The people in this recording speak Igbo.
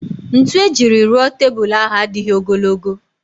Ntu ejiri rụọ tebul ahụ adịghị ogologo